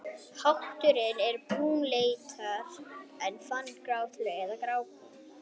Hatturinn er brúnleitur en fanirnar gráleitar eða grábrúnar.